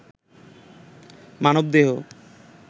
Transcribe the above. মানবদেহ